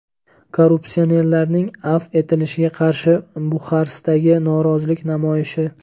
Korrupsionerlarning afv etilishiga qarshi Buxarestdagi norozilik namoyishi.